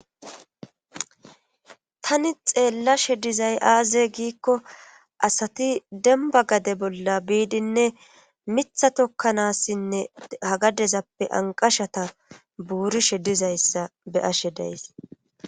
Tani xeella shedizay aaze giikko asati demba gade bolla biidinne mitha tokkanaassinne ha gadezappe anqashata buurishe dizayssa be ashe days.